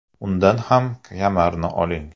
Undan ham kamarni oling!